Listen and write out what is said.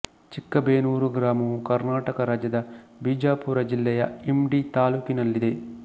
ಚಿಕ್ಕಬೇನೂರ ಗ್ರಾಮವು ಕರ್ನಾಟಕ ರಾಜ್ಯದ ಬಿಜಾಪುರ ಜಿಲ್ಲೆಯ ಇಂಡಿ ತಾಲ್ಲೂಕಿನಲ್ಲಿದೆ